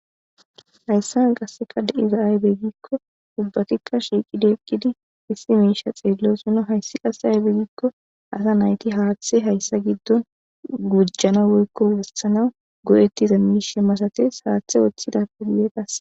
hayssa n qasseka de7izaaybegikko ubbatikka shiiqidi ekkidi issi miisha xeellosinna hayssi qasse aybeegikko asa nayti haaththe hayssa giddon gujjana woykko wossanaw go7ettiza miishe masate haaththe woththida pediyeqas